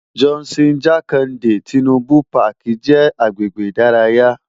Johnson Jakande Tinubu Pàkí jè agbègbé idàráyá